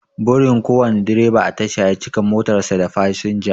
Burin kowane direba a tasha ya cika motar sa da fasinja